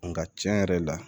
Nka tiɲɛ yɛrɛ la